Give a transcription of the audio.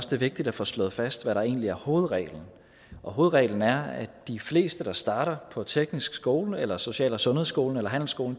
det er vigtigt at få slået fast hvad der egentlig er hovedreglen hovedreglen er at de fleste der starter på teknisk skole eller social og sundhedsskolen eller handelsskolen